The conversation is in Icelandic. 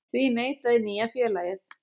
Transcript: Því neitaði nýja félagið